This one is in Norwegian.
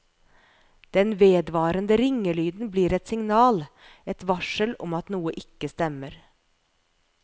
Den vedvarende ringelyden blir et signal, et varsel om at noe ikke stemmer.